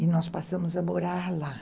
E nós passamos a morar lá.